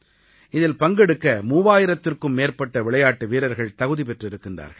இதில் பங்கெடுக்க 3000த்திற்கும் மேற்பட்ட விளையாட்டு வீரர்கள் தகுதி பெற்றிருக்கிறார்கள்